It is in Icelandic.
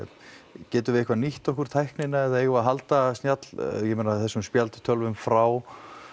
getum við eitthvað nýtt okkur tæknina eða eigum við að halda snjall ég meina þessum spjaldtölvum frá